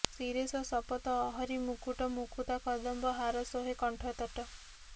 ଶିରେଶ ସପତ ଅହରି ମୁକୁଟ ମୁକୁତା କଦମ୍ବ ହାର ଶୋହେ କଣ୍ଠତଟ